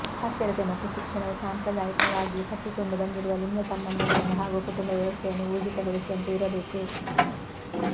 ಸಾಕ್ಷರತೆ ಮತ್ತು ಶಿಕ್ಷಣವು ಸಾಂಪ್ರದಾಯಕವಾಗಿ ಕಟ್ಟಿಕೊಂಡು ಬಂದಿರುವ ಲಿಂಗಸಂಬಂಧಗಳನ್ನು ಹಾಗೂ ಕುಟುಂಬ ವ್ಯವಸ್ಥೆಯನ್ನು ಊರ್ಜಿತಗೊಳಿಸುವಂತೆ ಇರಬೇಕು